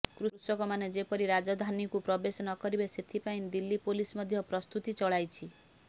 କୃଷକମାନେ ଯେପରି ରାଜଧାନୀକୁ ପ୍ରବେଶ ନକରିବେ ସେଥିପାଇଁ ଦିଲ୍ଲୀ ପୋଲିସ ମଧ୍ୟ ପ୍ରସ୍ତୁତି ଚଳାଇଛି